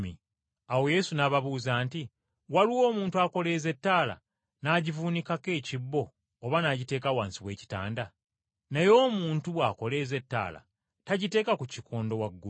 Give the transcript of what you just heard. Awo Yesu n’ababuuza nti, “Waliwo omuntu akoleeza ettaala n’agivuunikako ekibbo oba n’agiteeka wansi w’ekitanda? Naye omuntu bw’akoleeza ettaala tagiteeka ku kikondo waggulu?